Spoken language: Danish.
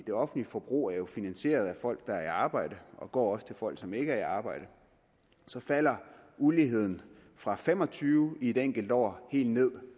det offentlige forbrug jo er finansieret af folk der er i arbejde og det går også til folk som ikke er i arbejde falder uligheden fra fem og tyve i et enkelt år helt ned